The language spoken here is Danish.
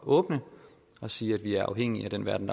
åbne og sige at vi er afhængige af den verden